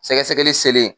Sɛgɛsɛgɛli selen